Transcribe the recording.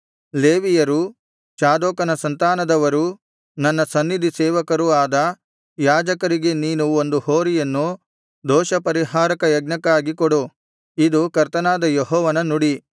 ಲೇವಿಯರೂ ಚಾದೋಕನ ಸಂತಾನದವರೂ ನನ್ನ ಸನ್ನಿಧಿಸೇವಕರೂ ಆದ ಯಾಜಕರಿಗೆ ನೀನು ಒಂದು ಹೋರಿಯನ್ನು ದೋಷ ಪರಿಹಾರಕಯಜ್ಞಕ್ಕಾಗಿ ಕೊಡು ಇದು ಕರ್ತನಾದ ಯೆಹೋವನ ನುಡಿ